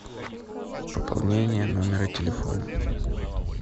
пополнение номера телефона